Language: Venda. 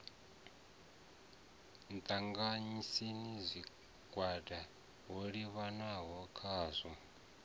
ṱanganyisa zwigwada ho livhiswaho khazwo